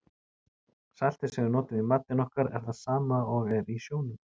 Saltið sem við notum í matinn okkar er það sama og er í sjónum.